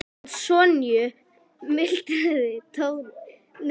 Hana Sonju? muldraði Tóti og sneri allur öfugur í sætinu.